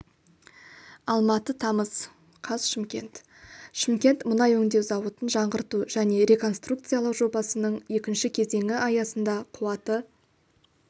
алматы тамыз қаз шымкент шымкент мұнай өңдеу зауытын жаңғырту және реконструкциялау жобасының екінші кезеңі аясында қуаты